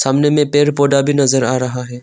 सामने में पेड़ पौधा भी नजर आ रहा है।